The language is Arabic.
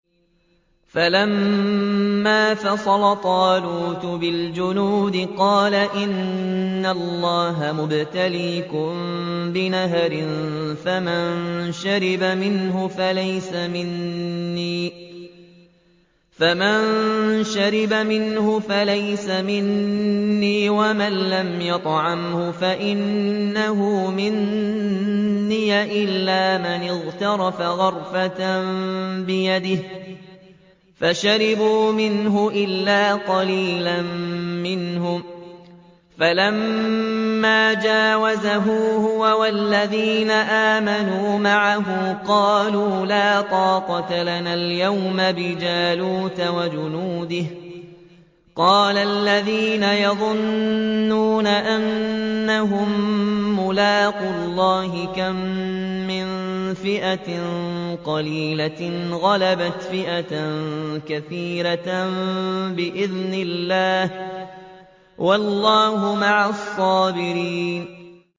فَلَمَّا فَصَلَ طَالُوتُ بِالْجُنُودِ قَالَ إِنَّ اللَّهَ مُبْتَلِيكُم بِنَهَرٍ فَمَن شَرِبَ مِنْهُ فَلَيْسَ مِنِّي وَمَن لَّمْ يَطْعَمْهُ فَإِنَّهُ مِنِّي إِلَّا مَنِ اغْتَرَفَ غُرْفَةً بِيَدِهِ ۚ فَشَرِبُوا مِنْهُ إِلَّا قَلِيلًا مِّنْهُمْ ۚ فَلَمَّا جَاوَزَهُ هُوَ وَالَّذِينَ آمَنُوا مَعَهُ قَالُوا لَا طَاقَةَ لَنَا الْيَوْمَ بِجَالُوتَ وَجُنُودِهِ ۚ قَالَ الَّذِينَ يَظُنُّونَ أَنَّهُم مُّلَاقُو اللَّهِ كَم مِّن فِئَةٍ قَلِيلَةٍ غَلَبَتْ فِئَةً كَثِيرَةً بِإِذْنِ اللَّهِ ۗ وَاللَّهُ مَعَ الصَّابِرِينَ